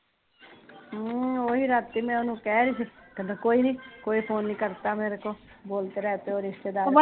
ਹਮ ਹਾਂ ਓਹੀ ਰਾਤੀ ਮੈਂ ਓਹਨੂ ਕਹਿ ਰਹੀ ਸੀ ਕਹਿਦਾ ਕੋਈ ਨੀ ਕੋਈ ਫ਼ੋਨ ਨੀ ਕਰਤਾ ਮੇਰੇ ਕੋ ਬੋਲਤੇ ਰਹੰਤੇ ਹੋ ਰਿਸਤੇਦਾਰੋ